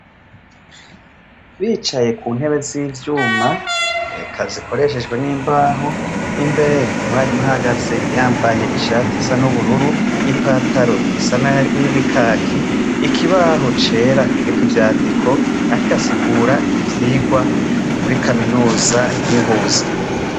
Bicaye kuntebe zivyuma, eka zikoreshwe nimbaho. Imbere umwalimu ahahagaze yambaye ishati isa nubururu, ipantaro isa ryi kaki ikibaho cera ,kiriko ivyandiko ariko asigura ivyirwa muri kaminuza yi Ngozi.